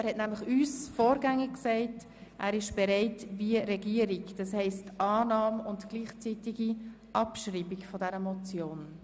Er hat uns nämlich bereits vorgängig mitgeteilt, dass er mit dem Antrag der Regierung einverstanden ist, das heisst mit der Annahme und gleichzeitigen Abschreibung der Motion.